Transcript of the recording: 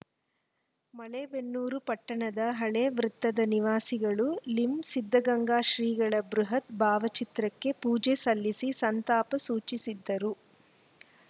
ಮಲೇಬೆನ್ನೂರು ಪಟ್ಟಣದ ಹಳೇ ವೃತ್ತದ ನಿವಾಸಿಗಳು ಲಿಂ ಸಿದ್ದಗಂಗಾ ಶ್ರೀಗಳ ಬೃಹತ್‌ ಭಾವಚಿತ್ರಕ್ಕೆ ಪೂಜೆ ಸಲ್ಲಿಸಿ ಸಂತಾಪ ಸೂಚಿಸಿದರು